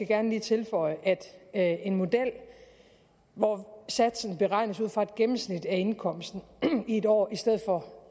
gerne lige tilføje at en model hvor satsen beregnes ud fra et gennemsnit af indkomsten i et år i stedet for